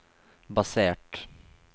basert